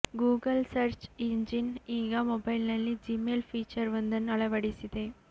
Google search engine ಈಗ ಮೊಬೈಲ್ನಲ್ಲಿ Gmail feature ವೊಂದನ್ನು ಅಳವಡಿಸಿದೆ